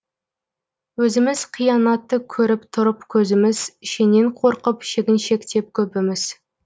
өзіміз қиянатты көріп тұрып көзіміз шеннен қорқып шегіншектеп көбіміз